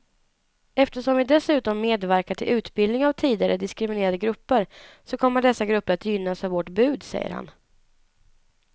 Eftersom vi dessutom medverkar till utbildning av tidigare diskriminerade grupper så kommer dessa grupper att gynnas av vårt bud, säger han.